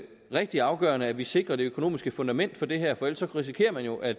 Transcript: rigtig afgørende at vi sikrer det økonomiske fundament for det her for ellers risikerer man jo at